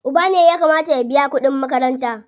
Uba ne ya kamata ya biya kuɗin makaranta.